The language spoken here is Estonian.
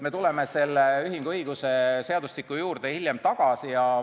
Me tuleme selle ühinguõiguse juurde hiljem tagasi.